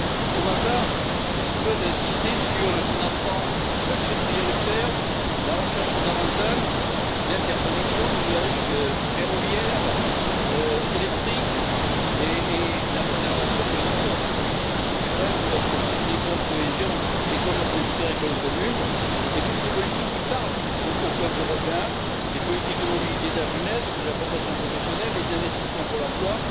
Pour ma part, je souhaite insister sur le financement d'actions prioritaires telles que la recherche fondamentale et l'interconnexion numérique, ferroviaire et électrique, et sur la préservation, bien sûr, des politiques structurelles comme les fonds de cohésion et la politique agricole commune, ainsi que de toutes les politiques qui parlent au peuple européen, à savoir les politiques de mobilité de la jeunesse, de la formation professionnelle ou encore les investissements pour l'emploi.